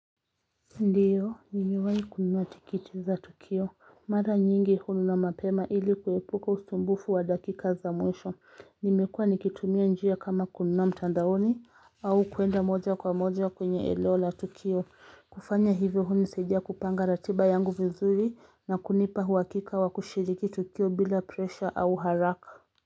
Ndiyo, nimewahi kunua tikitiza Tukio, mara nyingi hunu na mapema ili kuepuka usumbufu wa dakika za mwesho, nimekua nikitumia njia kama kunua mtandaoni au kuenda moja kwa moja kwenye eneo la Tukio, kufanya hivyo hunisadia kupanga ratiba yangu vizuri na kunipa uwakika wa kushiriki Tukio bila presha au haraka.